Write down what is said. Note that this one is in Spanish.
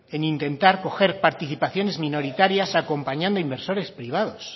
en intentar coger participaciones minoritarias acompañando a inversores privados